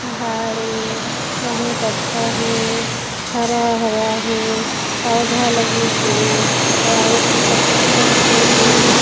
पहाड़ ए बहुत अच्छा हे हरा-हरा हे पौधा लगे हे वाइट कलर के हे।